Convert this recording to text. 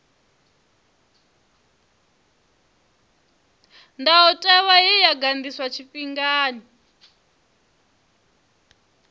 ndayotewa ye ya ganḓiswa tshifhingani